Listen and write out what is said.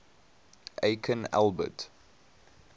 aikin albert